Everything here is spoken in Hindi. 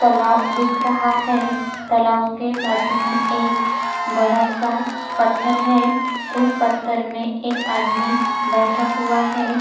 तालाब दिख रहा है तालाब के बाजू में एक बड़ा सा पत्थर है उस पत्थर में एक आदमी बैठा हुआ है ।